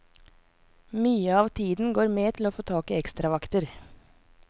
Mye av tiden går med til å få tak i ekstravakter.